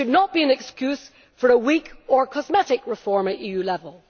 But it should not be an excuse for a weak or cosmetic reform at EU level.